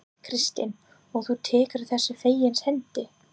Kristín: Og þú tekur þessu fegins hendi?